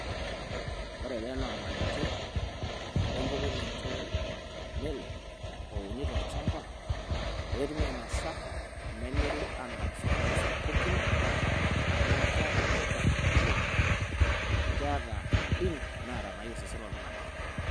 Ore ena naa ormalengei le empukunoto e watermelon ouni tolchamba pee etumi ainosa, nemiri aamiraki isokonini sapukin naa keeta tipat oleng' amu keeta madini naayieu osesen loltung'ani.